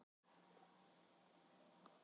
Þá var ég átta ára.